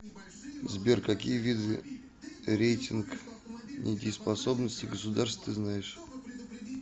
сбер какие виды рейтинг недееспособности государств ты знаешь